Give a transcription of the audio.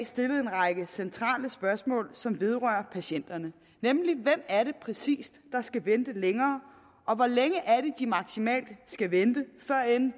stillet en række centrale spørgsmål som vedrører patienterne nemlig hvem er det præcis der skal vente længere og hvor længe er det de maksimalt skal vente før